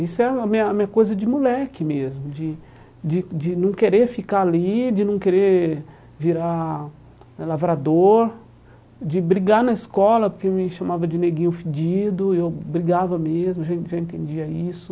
Isso é a minha a minha coisa de moleque mesmo, de de de não querer ficar ali, de não querer virar eh lavrador, de brigar na escola porque me chamavam de neguinho fedido, eu brigava mesmo, já já entendia isso.